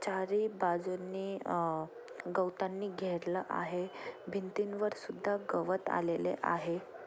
चारी बाजूनि अ गवतांनी घेरलं आहे भिंतींवर सुद्धा गवत आलेले आहे.